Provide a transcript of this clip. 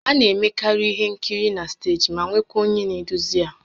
A na-emekarị ihe nkiri na steeji ma nwekwaa onye na-eduzi ya